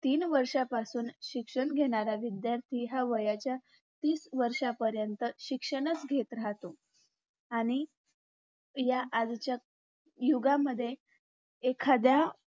तीनवर्षापासून शिक्षण घेणारा विध्यार्थी हा वयाच्या तीसवर्षापर्यँत शिक्षणच घेत राहतो आणि या आजच्या युगामध्ये एखादा